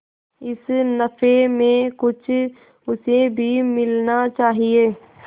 इस नफे में कुछ उसे भी मिलना चाहिए